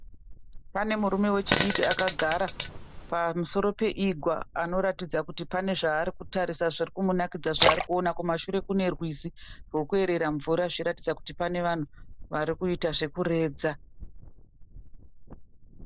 Pane murume wechidiki agara pamusoro paigwa anokuratidza pane zvaarikutarisa zvirikumunakidza zvaarikuona. Kumashure kune rwizi rwokueerera mvura zvichiratidza kuti pane vanhu varikuita zvekuredza.